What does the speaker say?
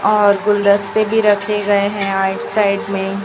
और गुलदस्ते भी रखे गए हैं राइट साइड में--